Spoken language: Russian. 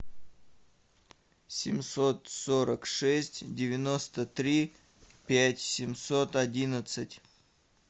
семьсот сорок шесть девяносто три пять семьсот одиннадцать